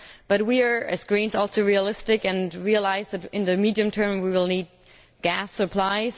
But we, as Greens, are also realistic and realise that, in the medium term, we will need gas supplies.